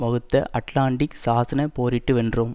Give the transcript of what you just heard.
வகுத்த அட்லாண்டிக் சாசன போரிட்டு வென்றோம்